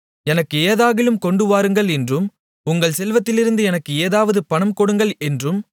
எனக்கு ஏதாகிலும் கொண்டு வாருங்கள் என்றும் உங்கள் செல்வத்திலிருந்து எனக்கு ஏதாவது பணம் கொடுங்கள் என்றும்